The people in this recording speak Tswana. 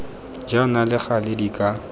jaana le gale di ka